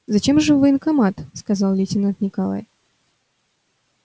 зачем же в военкомат сказал лейтенант николай